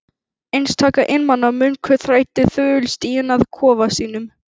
Einstaka einmana munkur þræddi þögull stíginn að kofa sínum.